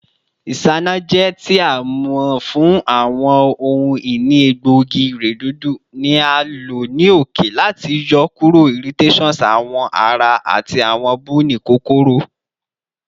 Isanaje, ti a mọ fun awọn ohun-ini egboogi-iredodo, ni a lo ni oke lati yọkuro irritations awọ ara ati awọn buni kokoro.